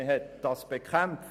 Dies wurde bekämpft;